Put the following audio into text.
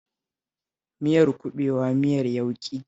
Miyar kuɓewa miyar yauƙi ce